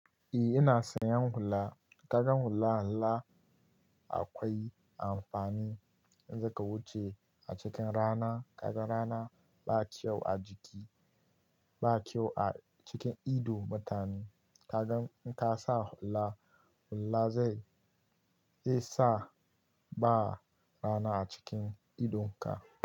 Eh ina son yin hula. Kaga hula nlmmmmma akwai amfani in zaka wuce a cikin rana. Kaga rana ba kyau a jiki, ba kyau a cikin ido mutane. Kaga in ka sa hula, hula zai, zai sa ba rana a cikin idonka.